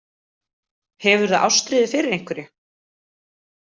Hefurðu ástríðu fyrir einhverju?